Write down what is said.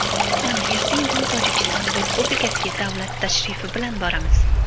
Mana, erta-indin Tojikiston Respublikasiga davlat tashrifi bilan boramiz.